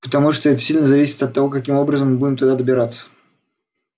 потому что это сильно зависит от того каким образом мы будем туда добираться